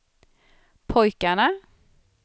pojkarna